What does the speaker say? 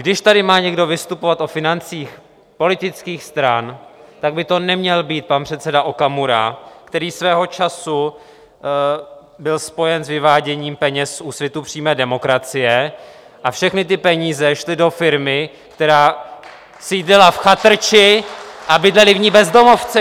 Když tady má někdo vystupovat o financích politických stran, tak by to neměl být pan předseda Okamura, který svého času byl spojen s vyváděním peněz z Úsvitu přímé demokracie, a všechny ty peníze šly do firmy, která sídlila v chatrči a bydleli v ní bezdomovci.